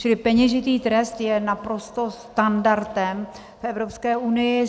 Čili peněžitý trest je naprosto standardem v Evropské unii.